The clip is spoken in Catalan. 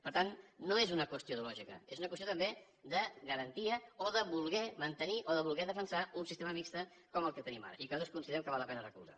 per tant no és una qüestió ideològica és una qüestió també de garantia o de voler mantenir o de voler defensar un sistema mixt com el que tenim ara i que nosaltres considerem que val la pena recolzar